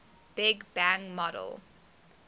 big bang model